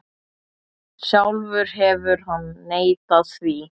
Sjálfur hefur hann neitað því.